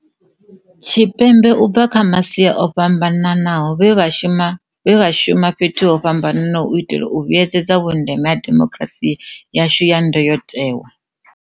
Tshipembe u bva kha masia o fhamba naho, vhe vha shuma fhethu ho fhambanaho u itela u vhuedzedza vhundeme ha demokirasi yashu ya ndayotewa.